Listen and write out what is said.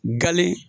Gale